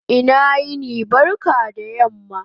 Ina yini/ barka da yamma